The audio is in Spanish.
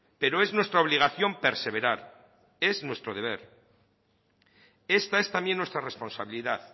pero es nuestra obligación perseverar es nuestro deber esta es también nuestra responsabilidad